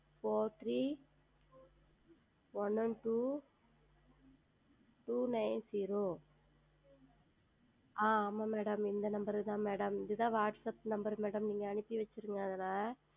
FourThreeOneOneTwoTwoNineZero ஆஹ் ஆமாம் Madam இந்த Number தான் இது தான் Whatsapp NumberMadam நீங்கள் அனுப்பி வைத்திருங்கள் அதில்